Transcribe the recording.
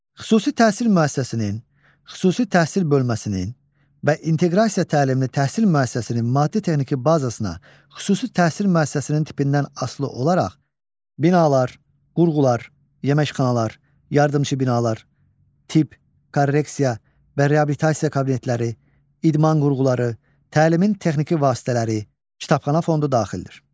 Xüsusi təhsil müəssisəsinin, xüsusi təhsil bölməsinin və inteqrasiya təlimli təhsil müəssisəsinin maddi-texniki bazasına xüsusi təhsil müəssisəsinin tipindən asılı olaraq binalar, qurğular, yeməkxanalar, yardımçı binalar, tibb, korreksiya və reabilitasiya kabinetləri, idman qurğuları, təlimin texniki vasitələri, kitabxana fondu daxildir.